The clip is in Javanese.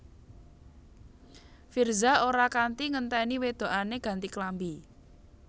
Virzha ora kanti ngenteni wedokane ganti klambi